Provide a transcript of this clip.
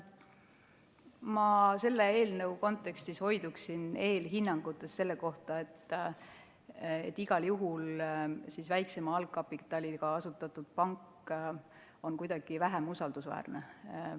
Ma selle eelnõu kontekstis hoiduksin eelhinnangutest selle kohta, et väiksema algkapitaliga asutatud pank on igal juhul kuidagi vähem usaldusväärne.